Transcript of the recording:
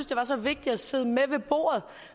det var så vigtige at sidde med ved bordet